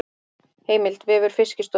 Heimild: Vefur Fiskistofu.